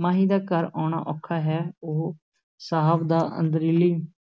ਮਾਹੀ ਦਾ ਘਰ ਆਉਣਾ ਔਖਾ ਹੈ, ਉਹ ਸਾਹਿਬ ਦਾ ਅਰਦਲੀ